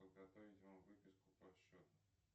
подготовить вам выписку по счету